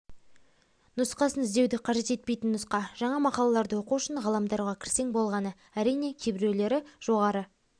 нұсқасын іздеуді қажет етпейтін нұсқа жаңа мақалаларды оқу үшін ғаламторға кірсең болғаны әрине кейбіреулер жоғары